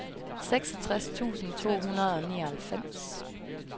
seksogtres tusind to hundrede og nioghalvfems